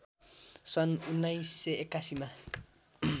सन् १९८१ मा